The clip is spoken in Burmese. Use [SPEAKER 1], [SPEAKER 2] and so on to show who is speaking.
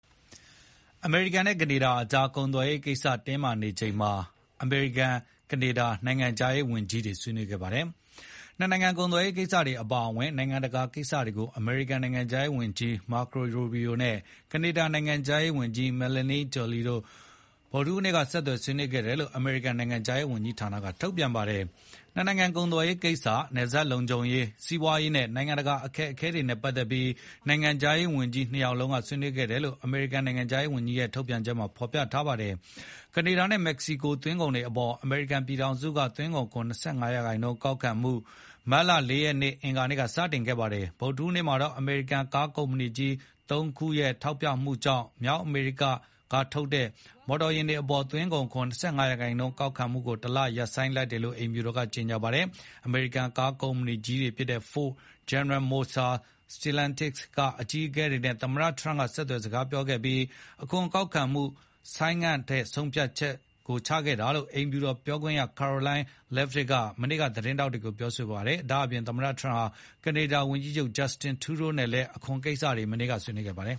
[SPEAKER 1] အမေရိကန်နဲ့ ကနေဒါကြား ကုန်သွယ်ရေးကိစ္စတင်းမာနေချိန်မှာ အမေရိကန်နဲ့ ကနေဒါ နိုင်ငံခြားရေးဝန်ကြီးတွေ ဆွေးနွေးခဲ့ကြပါတယ်။ နှစ်နိုင်ငံကုန်သွယ်ရေးကိစ္စတွေအပါအဝင် နိုင်ငံတကာကိစ္စတွေကို အမေရိကန်နိုင်ငံခြားရေးဝန်ကြီး Marco Rubio နဲ့ ကနေဒါနိုင်ငံခြားရေးဝန်ကြီး Melanie Joly တို့ ဗုဒ္ဓဟူးနေ့က ဆက်သွယ် ဆွေးနွေး ခဲ့တယ်လို့ အမေရိကန် နိုင်ငံခြားရေးဝန်ကြီးဌာနက ထုတ်ပြန်ပါတယ်။ နှစ်နိုင်ငံကုန်သွယ်ရေးကိစ္စ၊ နယ်စပ်လုံခြုံရေး၊ စီးပွားရေးနဲ့ နိုင်ငံတကာအခက်အခဲတွေနဲ့ ပတ်သက်ပြီး နိုင်ငံခြားရေးဝန်ကြီးနှစ် ယောက် ဆွေးနွေးခဲ့တယ်လို့ အမေရိကန် နိုင်ငံခြားရေးဝန်ကြီးဌာနက ထုတ်ပြန်ပါတယ်။ ကနေဒါနဲ့မက္ကဆီကို သွင်းကုန်တွေအပေါ် အမေရိကန်ပြည်ထောင်စုက သွင်းကုန်ခွန် ၂၅ ရာနှုန်း ကောက်ခံမှု မတ်လ (၄) ရက် အင်္ဂါနေ့က စတင်ခဲ့ပါတယ်။ ဗုဒ္ဓဟူးနေ့မှာတော့ အမေရိကန် ကားကုမ္ပဏီကြီး (၃) ခုရဲ့ ထောက်ပြမှုကြောင့် မြောက်အမေရိကထုတ် မော်တော်ယာဉ်တွေအပေါ် သွင်းကုန်ခွန် ၂၅% ကောက်ခံမှုကို တလဆိုင်းငံ့လိုက်တယ်လို့ အိမ်ဖြူတော်က ကြေညာပါတယ်။ အမေရိကန်ကားကုမ္ပဏီကြီးတွေဖြစ်တဲ့ Ford ၊ General Motors ၊ Stellantis ကအကြီးအကဲတွေနဲ့ သမ္မတ Trump ဆက်သွယ်စကားပြောခဲ့ပြီး အခွန်ကောက်ခံမှုကို ဆိုင်းငံ့ထားဖို့ဆုံးဖြတ်ခဲ့တယ်လို့ အိမ်ဖြူတော်ပြောခွင့်ရ Karoline Leavitt က မနေ့ကသတင်းထောက်တွေကိုပြောဆိုခဲ့ပါတယ်။ ဒါ့အပြင် သမ္မတထရမ့်ဟာ ကနေဒါဝန်ကြီးချုပ် Justin Trudeau နဲ့ လည်း အခွန်ကိစ္စတွေ ဆွေးနွေးခဲ့ ပါတယ်